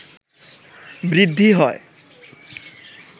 বৃদ্ধি হয়